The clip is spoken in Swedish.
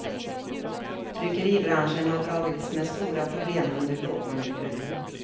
Tryckeribranschen har dragits med stora problem under lågkonjunkturen.